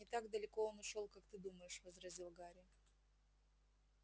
не так далеко он ушёл как ты думаешь возразил гарри